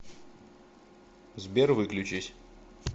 сбер выключись